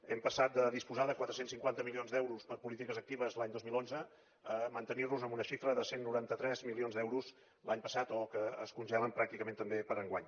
hem passat de disposar de quatre cents i cinquanta milions d’euros per a polítiques actives l’any dos mil onze a mantenir nos amb una xifra de cent i noranta tres milions d’euros l’any passat o que es congelen pràcticament també per enguany